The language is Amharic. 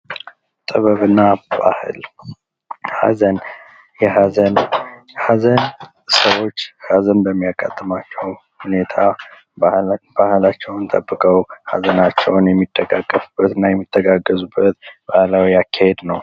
ጥበብና ባህል ኀዘን ሰዎች ሀዘን በሚያጋጥማቸው ጊዜ በአእላቸውን ጠብቀው ሐዘናቸውን የሚጠቃቀሙበት እና የሚተጋገዙበት ባህላዊ አካሄድ ነው።